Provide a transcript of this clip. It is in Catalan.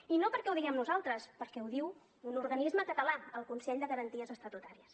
i no perquè ho diguem nosaltres perquè ho diu un organisme català el consell de garanties estatutàries